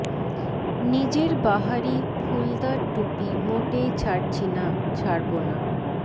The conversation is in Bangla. নিজের বাহারি ফুলদার টুপি মোটেই ছাড়ছি না ছাড়ব না